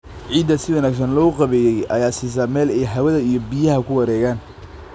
Ciidda si wanaagsan loo qaabeeyey ayaa siisa meel ay hawada iyo biyaha ku wareegaan.